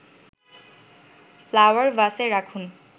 flower ভাসে রাখুন